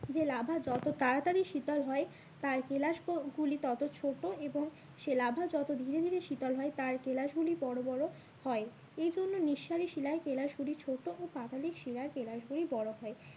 যে লাভা যত তাড়াতাড়ি শীতল হয় তার কেলাস গুলি তত ছোটো এবং সে লাভা যত ধীরে ধীরে শীতল হয় তার কেলাস গুলি বড়ো বড়ো হয় এই জন্য নিঃসারী শিলায় কেলাস গুলি ছোটো এবং পাদলিক শিলায় কেলাস গুলি বড়ো হয়।